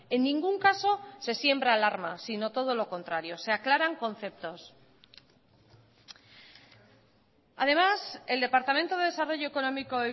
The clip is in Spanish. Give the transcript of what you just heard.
en ningún caso se siembra alarma sino todo lo contrario se aclaran conceptos además el departamento de desarrollo económico